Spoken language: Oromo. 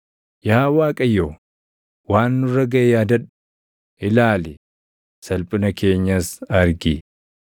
Yaa Waaqayyo, waan nurra gaʼe yaadadhu; ilaali; salphina keenyas argi.